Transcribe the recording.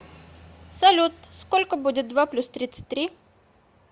салют сколько будет два плюс тридцать три